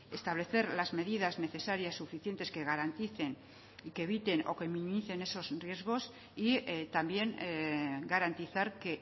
establecer las medidas necesarias suficientes que garanticen y que eviten o que minimicen esos riesgos y también garantizar que